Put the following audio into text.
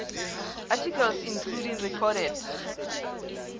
articles including recorded